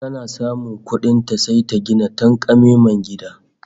Tana samun kuɗin ta, sai ta gina tanƙamemen gida